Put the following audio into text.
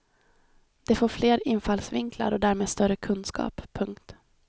De får fler infallsvinklar och därmed större kunskap. punkt